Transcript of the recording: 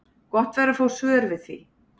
Gott væri að fá svör við því.